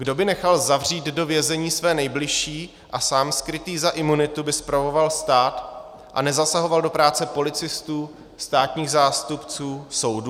Kdo by nechal zavřít do vězení své nejbližší a sám skrytý za imunitu by spravoval stát a nezasahoval do práce policistů, státních zástupců, soudů?